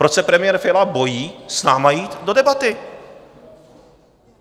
Proč se premiér Fiala bojí s námi jít do debaty?